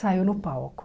Saiu no palco.